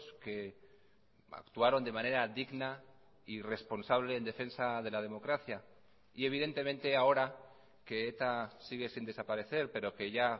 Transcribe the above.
que actuaron de manera digna y responsable en defensa de la democracia y evidentemente ahora que eta sigue sin desaparecer pero que ya